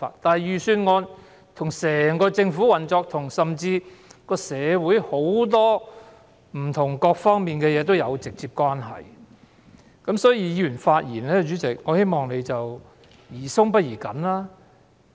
由於預算案跟整個政府的運作，以至社會各方面的事情都有直接關係，我希望主席對議員發言的態度宜寬不宜緊。